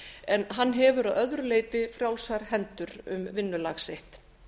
en hann hefur að öðru leyti frjálsar hendur um vinnulag sitt